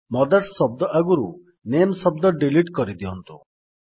mothers ଶବ୍ଦ ଆଗରୁ ନାମେ ଶବ୍ଦ ଡିଲିଟ୍ କରିଦିଅନ୍ତୁ